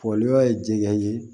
Foliba ye jɛgɛ ye